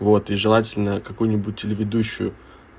вот и желательно какую-нибудь телеведущую